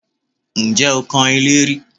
Ǹjẹ́ o kan ilé rí?